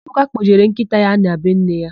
Ebuka kpọjere nkịta ya na be nne ya.